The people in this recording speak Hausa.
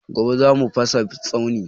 Gobe za mu fasa tsauni